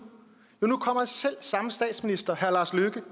jo nu kommer selv samme statsminister herre lars løkke